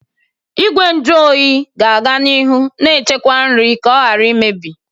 Igwe nju oyi ga-aga n'ihu na-echekwa nri ka ọ ghara imebi.